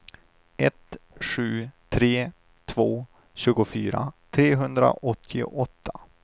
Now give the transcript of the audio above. ett sju tre två tjugofyra trehundraåttioåtta